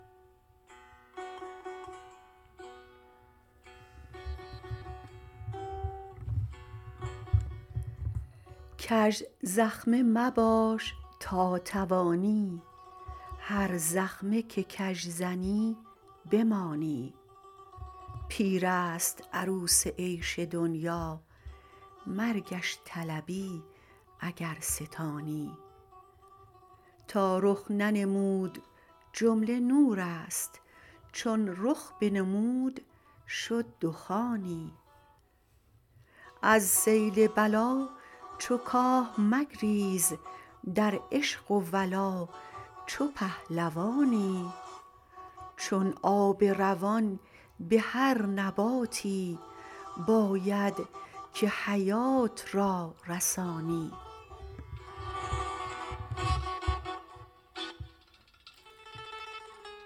کژزخمه مباش تا توانی هر زخمه که کژ زنی بمانی پیر است عروس عیش دنیا مرگش طلبی اگر ستانی تا رخ ننمود جمله نور است چون رخ بنمود شد دخانی از سیل بلا چو کاه مگریز در عشق و ولا چو پهلوانی چون آب روان به هر نباتی باید که حیات را رسانی